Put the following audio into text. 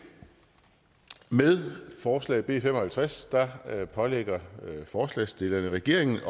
med forslag b fem og halvtreds pålægger forslagsstillerne regeringen